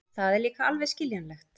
Það er líka alveg skiljanlegt.